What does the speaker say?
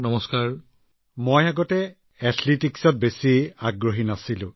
Amlan sir আগতে এথলেটিকছৰ প্ৰতি বিশেষ আগ্ৰহ নাছিল